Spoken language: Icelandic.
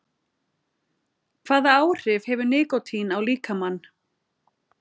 Hvaða áhrif hefur nikótín á líkamann?